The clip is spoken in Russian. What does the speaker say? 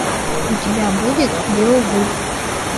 у тебя будет беовульф